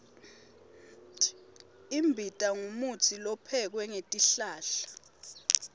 imbita ngumutsi lophekwe ngetihlahla